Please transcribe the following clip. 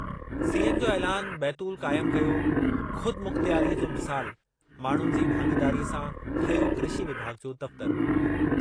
CM जो ऐलानु बैतूल क़ाइम कयो ख़ुदमुख़्तियारीअ जो मिसालु, माण्हुनि जी भाङेदारीअ सां ठहियो कृषि विभाॻु जो दफ़्तरु।